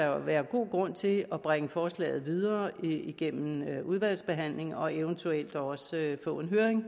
jo være god grund til at bringe forslaget videre igennem udvalgsbehandlingen og eventuelt også få en høring